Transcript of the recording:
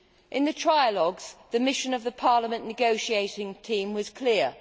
In the trialogues, the mission of the Parliament negotiating team was clear.